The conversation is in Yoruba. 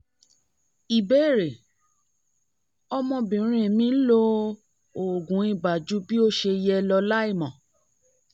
ìbéèrè: ọmọbìnrin mi lo oògùn ibà ju bí ó ṣe yẹ lọ láìmọ̀